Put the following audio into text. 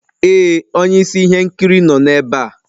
Ee onye isi ihe nkiri nọ ebe a.